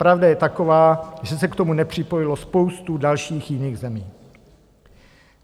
Pravda je taková, že se k tomu nepřipojilo spoustu dalších jiných zemí.